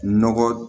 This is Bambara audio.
Nɔgɔ